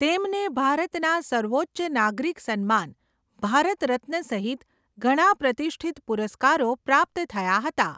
તેમને ભારતના સર્વોચ્ચ નાગરિક સન્માન, ભારત રત્ન સહિત ઘણા પ્રતિષ્ઠિત પુરસ્કારો પ્રાપ્ત થયા હતા.